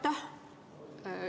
Aitäh!